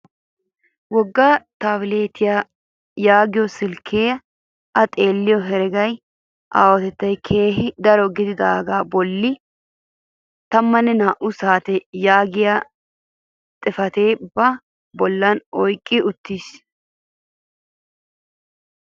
Wogga taabiletiyaa yaagiyoo silkkee a xeelliyoo heregaa aahotettay keehi daro gididagaa bolli taammanne naa"u saate yaagiyaa xifatiyaa ba bolli oyqqi uttiis!